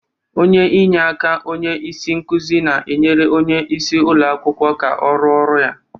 Onye inyeaka onye isi nkuzi na-enyere onye isi ụlọ akwụkwọ aka n'ọrụ ya.